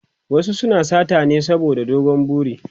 wasu suna sata ne saboda dogon buri